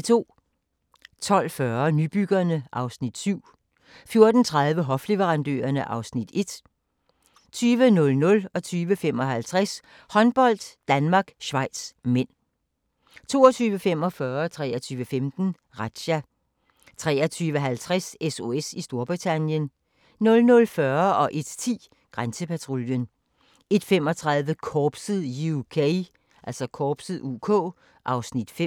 12:40: Nybyggerne (Afs. 7) 14:30: Hofleverandørerne (Afs. 1) 20:00: Håndbold: Danmark-Schweiz (m) 20:55: Håndbold: Danmark-Schweiz (m) 22:45: Razzia 23:15: Razzia 23:50: SOS i Storbritannien 00:40: Grænsepatruljen 01:10: Grænsepatruljen 01:35: Korpset (UK) (Afs. 5)